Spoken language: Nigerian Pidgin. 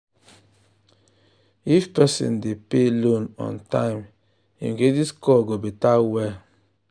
if person dey pay loan on time him credit score go better well.